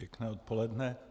Pěkné odpoledne.